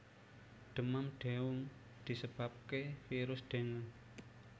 Demam dengue disebabke virus dengue